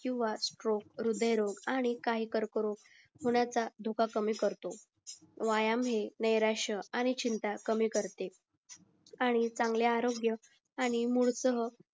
हृदय रोग आणि काही कर्क रोग मूळचा धोका कमी करतो व्यायाम हे नीराश्या आणि चिंता कमी करते आणि चांगले आरोग्य आणि मूळ सह